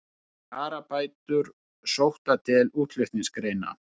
Kjarabætur sóttar til útflutningsgreina